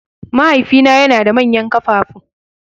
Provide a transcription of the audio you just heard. Mahaifina yana da manyan ƙafafu.